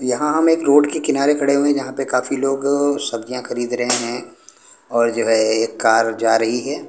यहां हम एक रोड के किनारे खड़े हुए हैं जहां पे काफी लोग सब्जियां खरीद रहे हैं और जो है एक कार जा रही है।